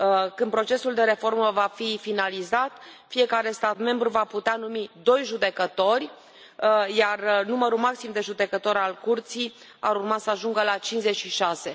Când procesul de reformă va fi finalizat, fiecare stat membru va putea numi doi judecători, iar numărul maxim de judecători al Curții ar urma să ajungă la cincizeci și șase.